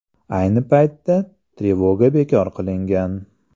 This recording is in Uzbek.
Ayni paytda trevoga bekor qilingan.